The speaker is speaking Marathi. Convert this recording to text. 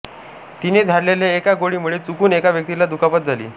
तिने झाडलेल्या एका गोळीमुळे चुकून एका व्यक्तीला दुखापत झाली